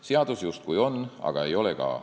Seadus justkui on, aga ei ole ka.